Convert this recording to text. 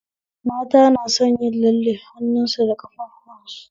Mata na son yin lalle hannu su da ƙafafuwan su